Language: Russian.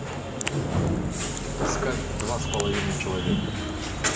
искать два с половиной человека